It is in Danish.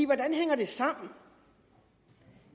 hvordan hænger det sammen